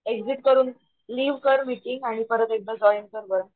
exit करून leave कर meeting आणि परंत एकदा जॉईन कर बरं